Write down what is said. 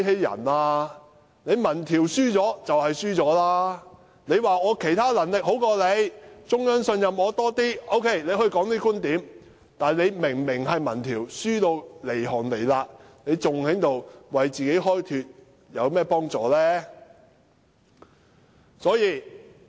如果她說自己其他能力比較高，並得到中央的信任，這些觀點尚可說得通；但明明民調顯示落後一大截，還要為自己開脫，對其民望毫無幫助。